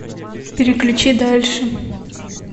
переключи дальше